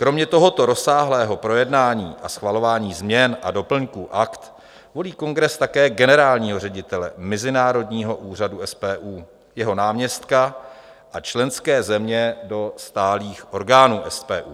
Kromě tohoto rozsáhlého projednání a schvalování změn a doplňků akt volí kongres také generálního ředitele mezinárodního úřadu SPU, jeho náměstka a členské země do stálých orgánů SPU.